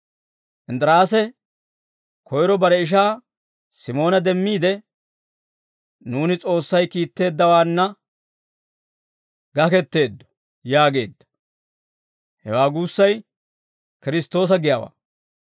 Inddiraase koyro bare ishaa Simoona demmiide, «Nuuni S'oossay kiitteeddawaanna gaketteeddo» yaageedda. Hewaa guussay «Kiristtoosa» giyaawaa.